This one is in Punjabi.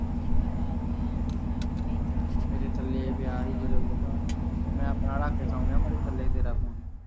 ਮੇਰੇ ਥੱਲੇ ਪਿਆ ਸੀ ਗਦੈਲੇ ਦੇ, ਮੈ ਆਪਣਾ ਰੱਖ ਕੇ ਸੌ ਗਿਆ, ਮੁੜ ਥੱਲੇ ਤੇਰਾ ਫੋਨ ਸੀ